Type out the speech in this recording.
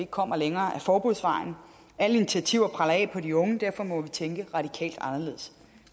kommer længere ad forbudsvejen alle initiativer preller af på de unge og derfor må vi tænke radikalt anderledes